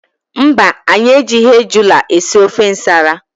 Mba anyị ejighi ejula esị ofe ǹsàlà.